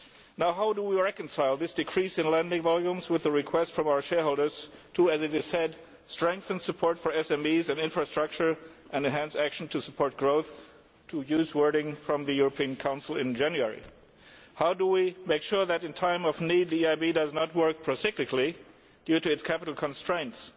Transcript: So how do we reconcile this decrease in lending volumes with the request from our shareholders to, as it is said, strengthen support for SMEs and infrastructure and enhance action to support growth to use the wording of the European Council meeting in January? How do we make sure that, in times of need, the EIB does not work pro cyclically due to its capital constraints?